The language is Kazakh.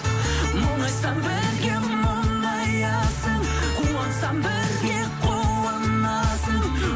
мұңайсам бірге мұңаясың қуансам бірге қуанасың